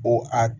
O a